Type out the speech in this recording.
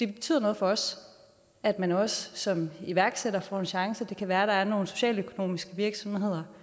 det betyder noget for os at man også som iværksætter får en chance det kan være at der er nogle socialøkonomiske virksomheder